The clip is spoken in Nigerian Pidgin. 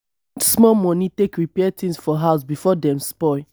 spend small money take repair things for house before dem spoil